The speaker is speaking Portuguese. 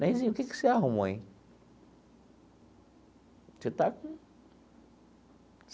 Neizinho, o que que você arrumou, hein? Você está com.